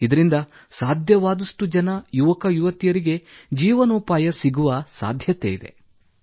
ಇದರಿಂದ ಯುವಕ ಯುವತಿಯರಿಗೆ ಜೀವನೋಪಾಯ ಮುಂದುವರಿಯಬಹುದು ಸರ್